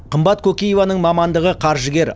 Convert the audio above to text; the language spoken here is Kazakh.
қымбат кокиеваның мамандығы қаржыгер